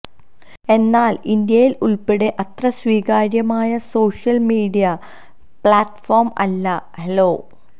എന്നാൽ ഇന്ത്യയിൽ ഉൾപ്പടെ അത്ര സ്വീകാര്യമായ സോഷ്യൽ മീഡിയ പ്ലാറ്റ്ഫോം അല്ല ഹലോ